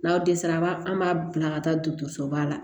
N'aw dɛsɛra a b'a an b'a bila ka taa dɔgɔtɔrɔsoba la